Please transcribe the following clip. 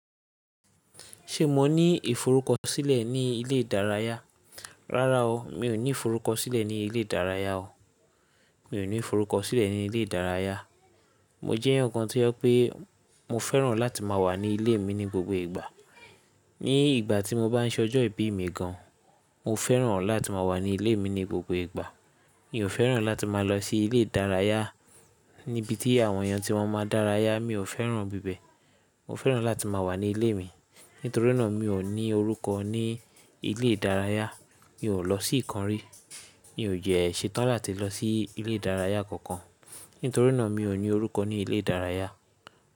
Ṣé mo ní ìforúkọ sílẹ̀ ní ilé ìdárayá? Rárá o, mi ò ní ìforúkọ sílẹ̀ ní ilé ìdárayá o. Mi ò ní ìforúkọ sílẹ̀ ní ilé ìdárayá. Mo jẹ́ eyan kan tí ó pé mo fẹ́ràn láti má a wà ní ilé mi ní gbogbo ìgbà. Ní ìgbà tí mo bá ń ṣọjọ́ ìbí mi gan, mo fẹ́ràn láti má a wà ní ilé mi ní gbogbo ìgbà. Mi ò fẹ́ràn láti má a lọ sí ilé ìdárayá níbi tí àwọn èèyàn tí wọ́n má a dárayá, mi ò fẹ́ràn bibẹ̀. Mo fẹ́ràn láti má a wà ní ilé mi. Nítorínà mi ò ní orúkọ ní ilé ìdárayá, mi ò lọ sí ìkan rí. Mi ò jẹ́ ẹ ṣe tán láti lọ sí ilé ìdárayá kankan nítorínà mi ò ní orúkọ ní ilé ìdárayá.